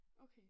Okay